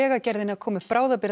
Vegagerðinni að koma upp